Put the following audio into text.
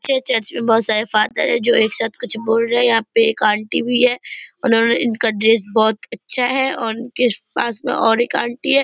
चे चर्च में बहोत सारे फादर है जो एक साथ कुछ बोल रहे है यहाँ पे एक आंटी भी है उन्होंने इनका ड्रेस बहोत अच्छा है और इनके पास में और एक आंटी है ।